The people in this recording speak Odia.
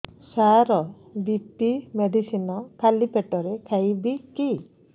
ସାର ବି.ପି ମେଡିସିନ ଖାଲି ପେଟରେ ଖାଇବି କି